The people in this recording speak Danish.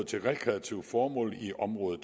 til rekreative formål i område